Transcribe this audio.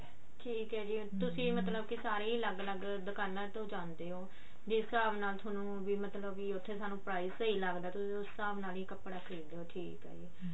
ਠੀਕ ਹੈ ਤੁਸੀਂ ਮਤਲਬ ਕੀ ਸਾਰੇ ਅਲਗ ਅਲੱਗ ਦੁਕਾਨਾ ਤੋਂ ਜਾਂਦੇ ਹੋ ਜਿਸ ਹਿਸਾਬ ਨਾਲ ਥੋਨੂੰ ਵੀ ਮਤਲਬ ਉੱਥੇ ਸਾਨੂੰ prize ਸਹੀ ਲੱਗਦਾ ਤੁਸੀਂ ਉਸ ਹਿਸਾਬ ਨਾਲ ਹੀ ਕੱਪੜਾ ਖਰੀਦਦੇ ਹੋ ਠੀਕ ਹੈ ਜੀ